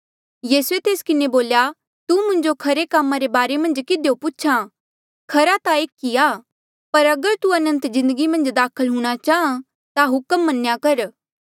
यीसूए तेस किन्हें बोल्या तू मुंजो खरे कामा रे बारे मन्झ किधियो पूछ्हा खरा ता एक ई आ पर अगर तू अनंत जिन्दगी मन्झ दाखल हूंणां चाहां ता हुक्म मन्या कर